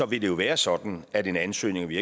vil det jo være sådan at en ansøgning og vi